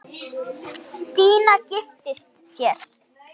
Stína giftist sér.